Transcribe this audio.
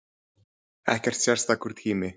Ekkert sérstakur tími